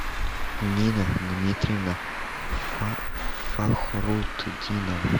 нина дмитриевна фахрутдинова